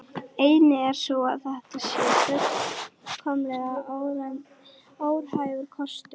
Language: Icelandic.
Ein er sú að þetta sé fullkomlega óraunhæfur kostur.